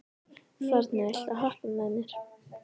Forni, viltu hoppa með mér?